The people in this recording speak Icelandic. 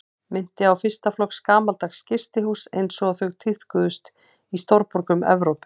Minnti á fyrsta flokks gamaldags gistihús einsog þau tíðkuðust í stórborgum Evrópu.